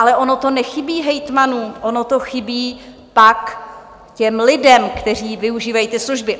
Ale ono to nechybí hejtmanům, ono to chybí pak těm lidem, kteří využívají ty služby.